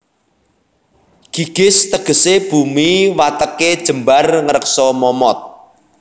Gigis tegesé bumi watêké jembar ngreksa momot